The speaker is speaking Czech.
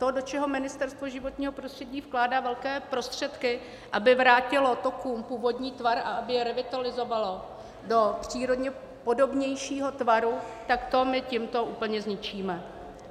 To, do čeho Ministerstvo životního prostředí vkládá velké prostředky, aby vrátilo tokům původní tvar a aby je revitalizovalo do přírodně podobnějšího tvaru, tak to my tímto úplně zničíme.